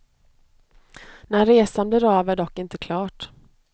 När resan blir av är dock inte klart.